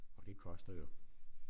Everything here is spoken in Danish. Og det koster jo